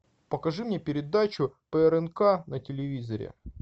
покажи мне передачу по рнк на телевизоре